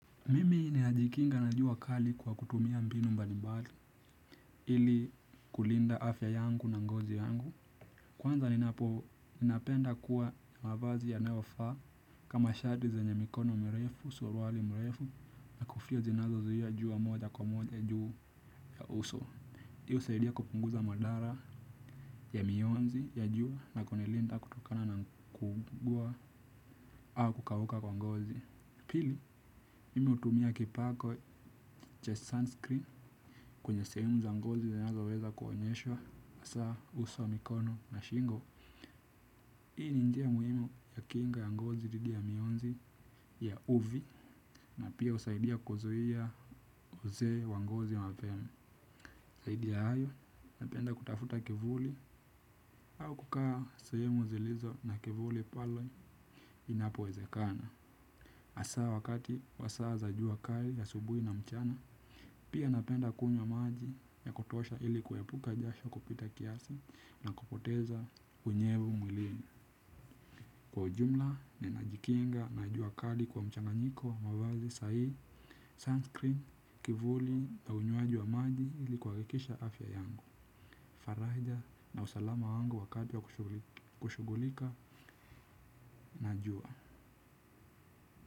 Mimi ninajikinga na jua kali kwa kutumia mbinu mbalibali ili kulinda afya yangu na ngozi yangu. Kwanza ninapo ninapenda kuwa wavazi yanayofaa kama shati zenye mikono mirefu suruali mrefu na kofia zinazo zuia jua moja kwa moja juu ya uso iliyosaidia kupunguza madhara ya mionzi ya jua na kunilinda kutokana na kuugua au kukauka kwa ngozi. Pili, nimeutumia kipako cha sunscreen kwenye sehemu za ngozi zinazoweza kuonyeshwa hasaa uso mikono na shingo. Hii ni njia muhimu ya kinga ya ngozi dhidii ya mionzi ya UV na pia usaidia kuzuia uzee wa ngozi mapema. Zaidi ya hayo, napenda kutafuta kivuli au kukaa sehemu zilizo na kivuli pale inapowezekana. Hasaa wakati wa saa za jua kali asubuhi na mchana, pia napenda kunywa maji ya kutosha ili kuepuka jasho kupita kiasi na kupoteza unyevu mwilini. Kwa ujumla, ninajikinga na jua kali kwa mchanganyiko, mwavazi, sahihi, sunscreen, kivuli na unywaji wa maji ili kuhakikisha afya yangu. Faraja na usalama wangu wakati wa kushughulika na jua.